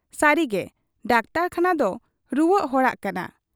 ᱥᱟᱹᱨᱤᱜᱮ ᱰᱟᱠᱛᱚᱨᱠᱷᱟᱱᱟᱫᱚ ᱨᱩᱣᱟᱹᱜ ᱦᱚᱲᱟᱜ ᱠᱟᱱᱟ ᱾